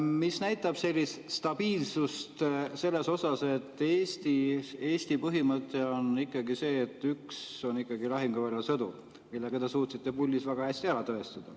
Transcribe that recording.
See näitab stabiilsust selles mõttes, et Eesti põhimõte on see, et üks on ikkagi lahinguväljal sõdur, mille ka teie suutsite puldis väga hästi ära tõestada.